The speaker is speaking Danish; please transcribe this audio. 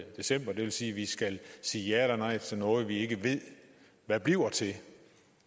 december og det vil sige at vi skal sige ja eller nej til noget vi ikke ved hvad bliver til